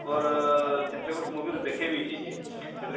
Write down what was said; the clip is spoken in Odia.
ତାଙ୍କର ସେଥିରେ ସେ movie ରେ ଦେଖେଇ ଦେଇଛେ ଯେ ସେଥିରେ